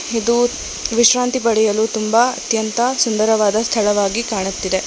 ಇದು ವಿಶ್ರಾಂತಿ ಪಡೆಯಲು ತುಂಬಾ ಅತ್ಯಂತ ಸುಂದರವಾದ ಸ್ಥಳವಾಗಿ ಕಾಣುತ್ತಿದೆ.